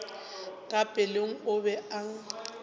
ka pelong o be a